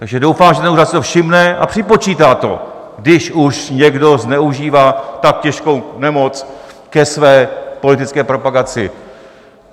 Takže doufám, že ten úřad si toho všimne a připočítá to, když už někdo zneužívá tak těžkou nemoc ke své politické propagaci.